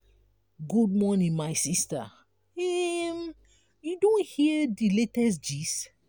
good morning my sista um you don hear di latest gist?